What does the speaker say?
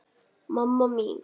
Mamma mín.